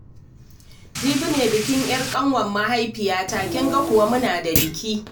Jibi ne bikin 'yar ƙanwar mahaifiyata, kin ga kuwa muna da biki